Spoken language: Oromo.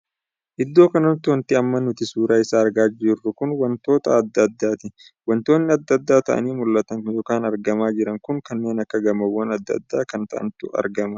Iddoo kanatti wanti amma nuti suuraa isaa argaa jirru kun wantoota addaa addaati .wantoonni adda addaa taa'anii mul'atan ykn argamaa jiru kun kanneen akka gamoowwan addaa addaa kan taa'antu argamaa jira.